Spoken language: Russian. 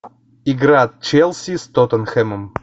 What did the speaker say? игра челси с тоттенхэмом